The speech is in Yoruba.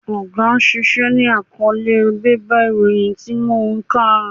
Oge ṣíṣe ni àkọ́ọ́lé bébà ìròyìn tí mo kà.